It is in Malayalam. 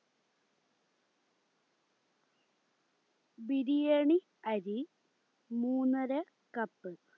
ബിരിയാണി അരി മൂന്നര cup